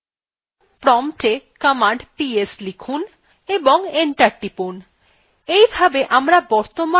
promptএ command ps লিখুন এবং enter টিপুন